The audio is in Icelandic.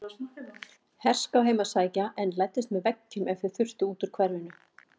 Herská heim að sækja en læddust með veggjum ef þau þurftu út úr hverfinu.